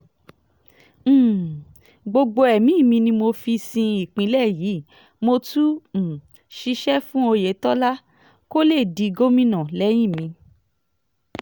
um gbogbo ẹ̀mí mi ni mo fi sin ìpínlẹ̀ yìí mo tún um ṣiṣẹ́ fún oyetola kó lè di gómìnà lẹ́yìn mi